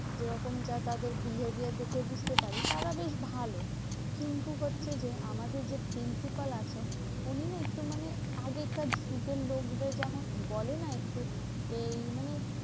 যেরকমটা তাদের behavior দেখেই বুঝতে পারি, তারা বেশ ভালো। কিন্তু হচ্ছে যে, আমাদের যে principal আছেন, উনি না একটু মানে আগেকার যুগের লোকদের যেমন বলে না? একটু এই মানে